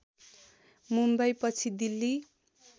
मुम्बई पछि दिल्ली